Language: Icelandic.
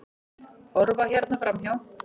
Horfa hérna framhjá!